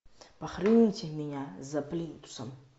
похороните меня за плинтусом